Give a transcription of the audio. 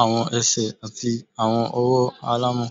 awọn ẹsẹ ati awọn ọwọ alamọ